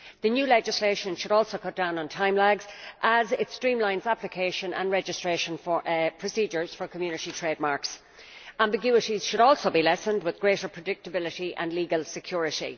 The new legislation should also cut down on time lags, as it streamlines application and registration for procedures for Community trademarks. Ambiguities should also be lessened, with greater predictability and legal security.